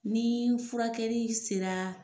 Ni furakɛli sera.